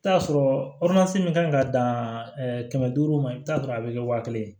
I bi t'a sɔrɔ min kan ɲi ka dan kɛmɛ duuru ma i bi t'a sɔrɔ a be kɛ wa kelen ye